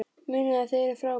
Munið að þið eruð frábær!